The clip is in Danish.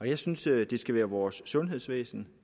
jeg synes det skal være vores sundhedsvæsen